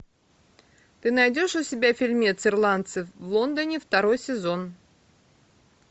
ты найдешь у себя фильмец ирландцы в лондоне второй сезон